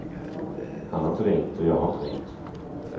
Han har inte ringt, och jag har inte ringt.